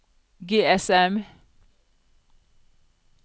GSM